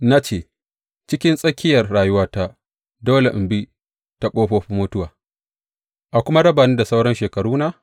Na ce, Cikin tsakiyar rayuwata dole in bi ta ƙofofin mutuwa a kuma raba ni da sauran shekaruna?